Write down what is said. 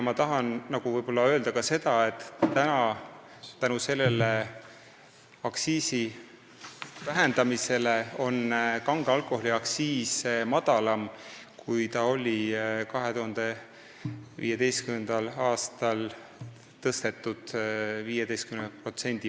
Ma tahan öelda ka seda, et tänu sellele aktsiisi vähendamisele on kange alkoholi aktsiis praegu madalam, kui see oli 2015. aastal, tõstetult 15%.